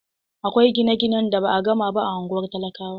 Akwai gine-gine da ba a gama ba a ungwar talakawa.